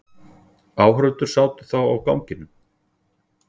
Áhorfendur sátu þá á ganginum.